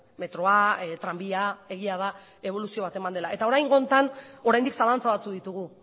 metroa tranbia egia da eboluzio bat eman dela eta oraingo honetan oraindik zalantza batzuk ditugu